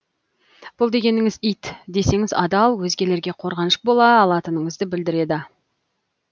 бұл дегеніміз ит десеңіз адал өзгелерге қорғаныш бола алатыныңызды білдіреді